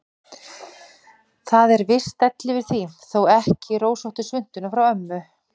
Það er viss stæll yfir því, þó ekki rósóttu svuntuna frá ömmu.